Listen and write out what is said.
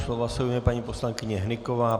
Slova se ujme paní poslankyně Hnyková.